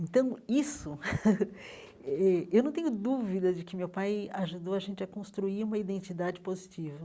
Então, isso, eh eu não tenho dúvida de que meu pai ajudou a gente a construir uma identidade positiva.